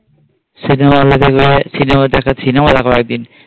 Cinema দেখ একদিন।